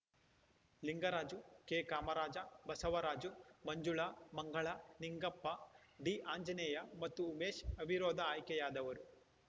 ಲಿಂಗರಾಜು ಕೆಕಾಮರಾಜ ಬಸವರಾಜು ಮಂಜುಳಾ ಮಂಗಳ ನಿಂಗಪ್ಪ ಡಿಆಂಜನೇಯ ಮತ್ತು ಉಮೇಶ್‌ ಅವಿರೋಧ ಆಯ್ಕೆಯಾದವರು